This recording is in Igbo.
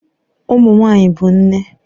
Ụmụ nwanyị bụ nne